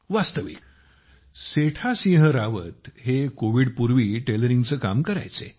वास्तविक सेठा सिंह रावत हे कोविडपूर्वी टेलरिंगचे काम करायचे